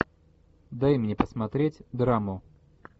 дай мне посмотреть драму